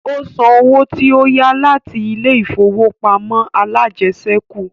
Ó san owó tí ó yá láti ilé ìfowópamọ́ alájẹsẹ́kù